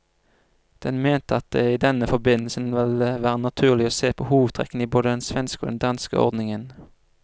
Den mente at det i denne forbindelse ville være naturlig å se på hovedtrekkene i både den svenske og den danske ordningen.